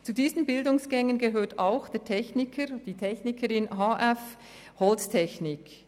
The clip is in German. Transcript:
Zu diesen Bildungsgängen gehört auch der Techniker beziehungsweise die Technikerin HF Holztechnik.